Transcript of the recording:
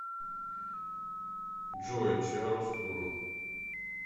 джой чиароскуро